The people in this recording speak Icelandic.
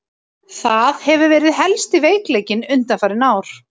Það hefur verið helsti veikleikinn undanfarin ár.